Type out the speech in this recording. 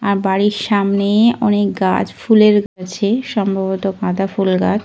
আর বাড়ির সামনে অনেক গাছ ফুলের গাছ আছে । সম্ভবত গাঁদা ফুল গাছ।